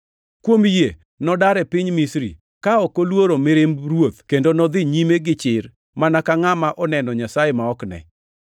Kuom yie nodar e piny Misri, ka ok oluoro mirimb ruoth kendo nodhi nyime gichir mana ka ngʼama oneno Nyasaye ma ok ne.